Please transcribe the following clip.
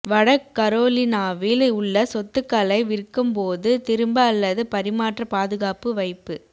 வட கரோலினாவில் உள்ள சொத்துக்களை விற்கும்போது திரும்ப அல்லது பரிமாற்ற பாதுகாப்பு வைப்பு